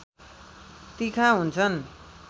तिखा हुन्छन्